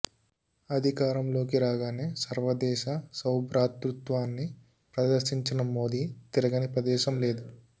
అధికారంలోకి రాగానే సర్వదేశ సౌభ్రాతృత్వాన్ని ప్రదర్శించిన మోదీ తిరగని దేశం లేదు